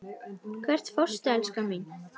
Hvert fórstu, elskan mín?